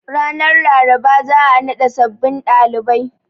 Ranar Laraba za a naɗa sabbin ɗalibai.